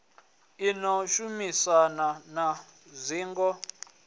i ḓo shumisana na dzingo